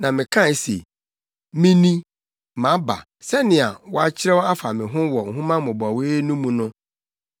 Na mekae se, “Mini, maba, sɛnea wɔakyerɛw afa me ho wɔ nhoma mmobɔwee no mu no.